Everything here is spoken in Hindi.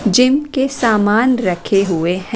जिम के सामान रखे हुए हैं।